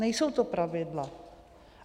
Nejsou to pravidla.